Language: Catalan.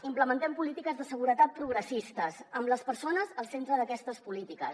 implementem polítiques de seguretat progressistes amb les persones al centre d’aquestes polítiques